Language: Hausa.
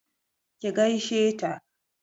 ki gaishe ta!